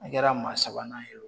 An kɛra maa sabanan ye